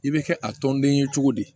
I bɛ kɛ a tɔnden ye cogo di